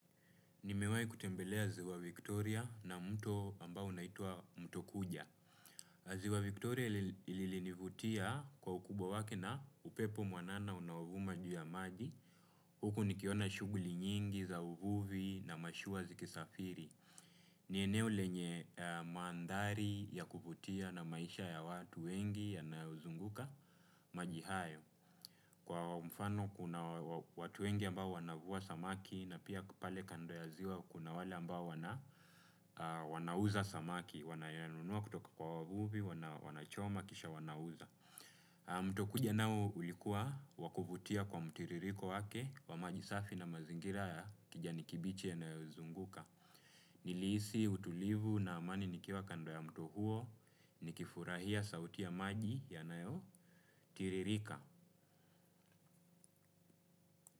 Nimewahi kutembelea ziwa Victoria na mto ambao unaitwa mto kuja. Ziwa Victoria ilinivutia kwa ukubwa wake na upepo mwanana unaovuma juu ya maji. Huku nikiona shughuli nyingi za uvuvi na mashua zikisafiri. Ni eneo lenye mandhari ya kuvutia na maisha ya watu wengi yanayozunguka maji hayo. Kwa mfano kuna watu wengi ambao wanavua samaki na pia pale kando ya ziwa kuna wale ambao wanauza samaki. Wanayanunua kutoka kwa wavuvi, wanachoma, kisha wanauza. Mto kuja nao ulikuwa wa kuvutia kwa mtiririko wake wa maji safi na mazingira ya kijani kibichi yanayozunguka. Nilihisi utulivu na amani nikiwa kando ya mto huo nikifurahia sauti ya maji yanayotiririka.